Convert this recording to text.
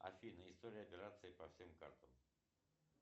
афина история операций по всем картам